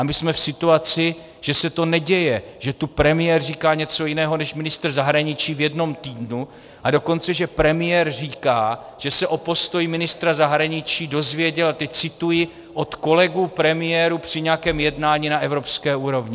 A my jsme v situaci, že se to neděje, že tu premiér říká něco jiného než ministr zahraničí v jednom týdnu, a dokonce že premiér říká, že se o postoji ministra zahraničí dozvěděl, a teď cituji, od kolegů premiérů při nějakém jednání na evropské úrovni.